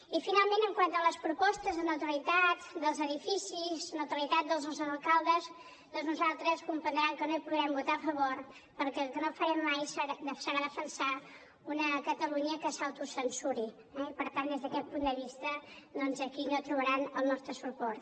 i finalment quant a les propostes de neutralitat dels edificis neutralitat dels nostres alcaldes doncs nosaltres comprendran que no hi podrem votar a favor perquè el que no farem mai serà defensar una catalunya que s’autocensuri eh i per tant des d’aquest punt de vista doncs aquí no trobaran el nostre suport